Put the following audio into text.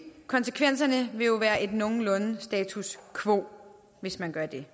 konsekvenserne vil jo være et nogenlunde status quo hvis man gør det